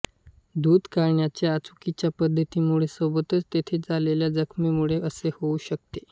दूध काढण्याच्या चुकीच्या पद्धतीमुळे व सोबतच तेथे झालेल्या जखमेमुळे असे होऊ शकते